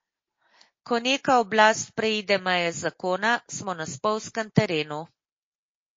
Ko neka oblast preide meje zakona, smo na spolzkem terenu.